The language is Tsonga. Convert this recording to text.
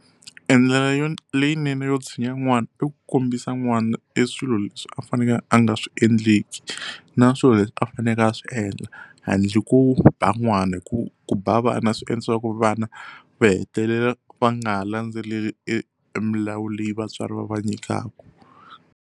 Endlela yo leyinene yo tshinya n'wana i ku kombisa n'wana e swilo leswi a fanekele a nga swi endleki na swilo leswi a faneleke a swi endla handle ko ba n'wana hi ku ku ba vana swi endlisiwa ku vana va hetelela va nga ha landzeleli emilawu leyi vatswari va va nyikaka.